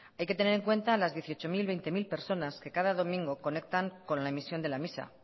hay que tener en cuenta las dieciochocero veintecero personas que cada domingo conectan con la emisión de la misa